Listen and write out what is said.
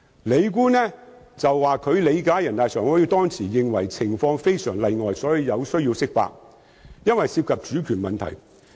李官指，他理解人大常委會當時認為情況非常例外，所以有需要釋法，因為涉及主權問題。